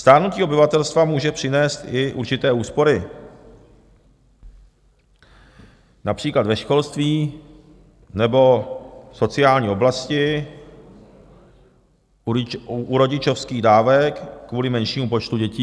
Stárnutí obyvatelstva může přinést i určité úspory, například ve školství nebo v sociální oblasti, u rodičovských dávek kvůli menšímu počtu dětí.